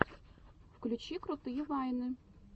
включи крутые вайны